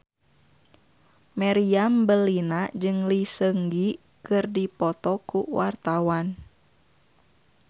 Meriam Bellina jeung Lee Seung Gi keur dipoto ku wartawan